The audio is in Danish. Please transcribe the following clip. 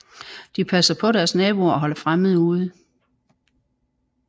De passer på deres naboer og holder fremmede ude